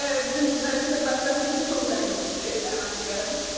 Bizim mətbəximiz çox zəngindir, mən deyərəm.